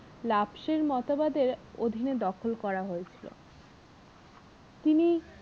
মতবাদের অধীনে দখল করা হয়েছিল তিনি